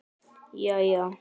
Jæja?